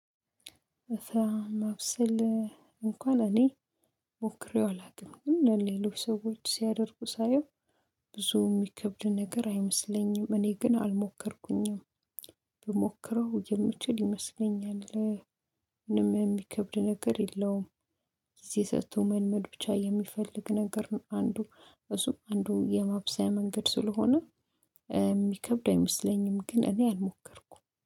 እሷ ማብሰል እንኳን እኔ ሞክሬው አላውቅም ሌሎች ሰዎች ሲያደርጉ ሳየው ብዙ የሚከብድ ነገር አይመስለኝም እኔ ግን አልሞከርኩኝም ብሞክረው የምችል ይመስለኛል። ምንም የሚከብድ ነገር የለውም። ጊዜ ሰጥቶ መመድ ብቻ የሚፈልግ ነገር ነው። አንዱ እሱም አንዱ የማብሰያ መንገድ ስለሆነ የሚከብድ አይመስለኝም ግን እኔ አልሞከርኩም